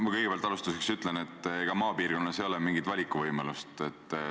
Ma kõigepealt alustuseks ütlen, et ega maapiirkonnas ei ole mingit valikuvõimalust.